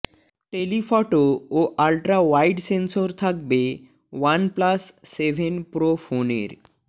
tele photo ও ultra wide sensor থাকবে OnePlus seven pro ফোনের